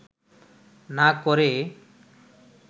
না করে